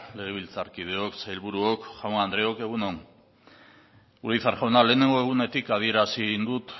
legebiltzarkideok sailburuok jaun andreok egun on urizar jauna lehenengo egunetik adierazi egin dut